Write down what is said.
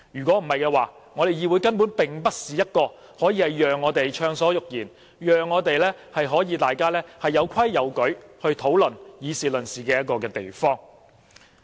否則，議會根本不能成為一個讓我們暢所欲言、大家有規有矩地討論和議事論事的地方。